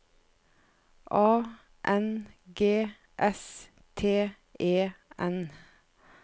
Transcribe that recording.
A N G S T E N